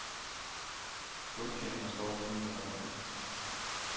Stumtjeneren står lige inden for døren.